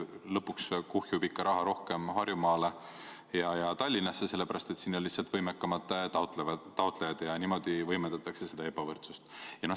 Lõpuks kuhjub raha ikka rohkem Harjumaale ja Tallinnasse, sest siin on lihtsalt võimekamad taotlejad, ja niimoodi võimendatakse ebavõrdsust.